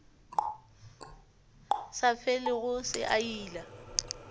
sa felego se a ila